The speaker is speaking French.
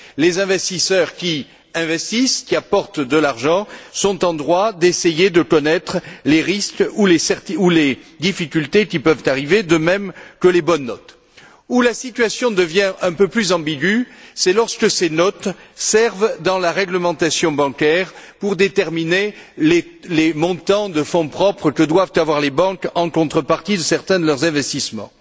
Les investisseurs qui investissent, qui apportent de l'argent, sont en droit d'essayer de connaître les risques ou les difficultés qui peuvent arriver, de même que les bonnes notes. Là où la situation devient un peu plus ambiguë, c'est lorsque ces notes servent, dans la réglementation bancaire, à déterminer les montants de fonds propres que doivent avoir les banques en contrepartie de certains de leurs investissements.